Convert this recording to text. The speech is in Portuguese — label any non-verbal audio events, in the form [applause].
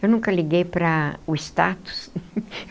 Eu nunca liguei para o status. [laughs]